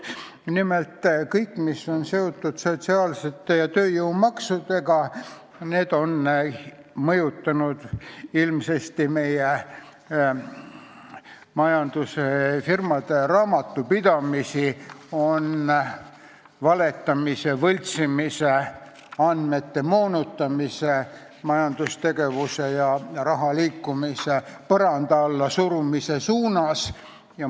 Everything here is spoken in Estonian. Nimelt, kõik, mis on seotud sotsiaalsete ja tööjõumaksudega, on mõjutanud ilmsesti meie majandust ja just firmade raamatupidamist valetamise, võltsimise, andmete moonutamise ning majandustegevuse ja raha põranda alla surumise suunas.